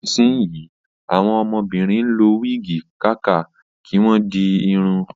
Nísìnsíyì, àwọn ọmọbìnrin ń lo wígì kàkà kí wọ́n di irun